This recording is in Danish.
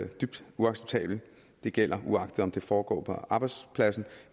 dybt uacceptabelt det gælder uagtet om det foregår på arbejdspladsen